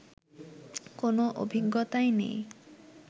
কোনো অভিজ্ঞতাই নেই